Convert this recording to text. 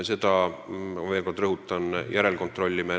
Selle üle, veel kord rõhutan, me teeme järelkontrolli.